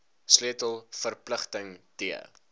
sleutel verpligting t